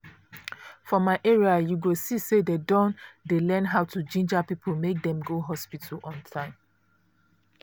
for my area you go see say dem don dey learn how to ginger people make dem go hospital on time.